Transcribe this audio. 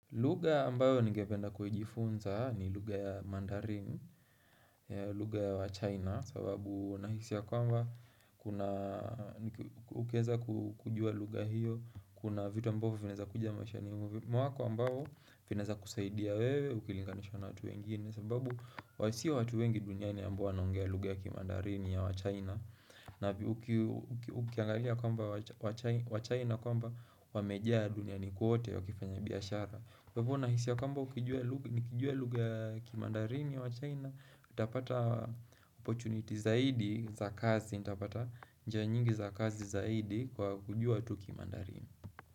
Lugha ambayo ningependa kujifunza ni lugha ya mandarin, lugha ya wa China sababu nahisi ya kwamba kuna Ukiweza kujua lugha hiyo kuna vitu ambavyo vinaweza kuja maishani mwako ambayo vinaweza kusaidia wewe ukilinganisha na watu wengine sababu sio watu wengi duniani ambao wanaongea lugha ya kimandarini ya wa China na ukiangalia kwamba wa China kwamba wamejaa duniani kwote wakifanya biashara Kwa hivyo nahisi kwamba nikijua lugha ya kimandarini ya wa China, nitapata opportunity zaidi za kazi, nitapata njia nyingi za kazi zaidi kwa kujua tu kimandarini.